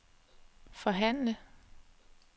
forhandle